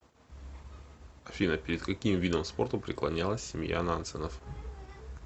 афина перед каким видом спорта преклонялась семья нансенов